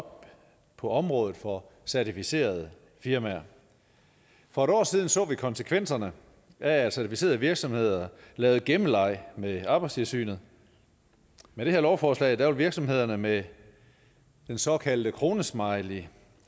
op på området for certificerede firmaer for et år siden så vi konsekvenserne af at certificerede virksomheder legede gemmeleg med arbejdstilsynet med det her lovforslag vil virksomhederne med den såkaldte kronesmiley